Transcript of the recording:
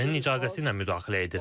ABŞ-nin icazəsi ilə müdaxilə edirlər.